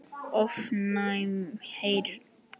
ofnæm heyrn